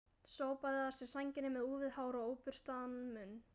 Sópaði að sér sænginni með úfið hár og óburstaðan munn.